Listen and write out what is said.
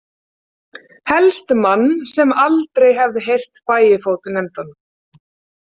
Helst mann sem aldrei hefði heyrt Bægifót nefndan.